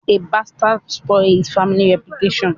A bastard spoils his family reputation.